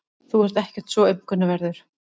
Þú ert ekkert svo aumkunarverður.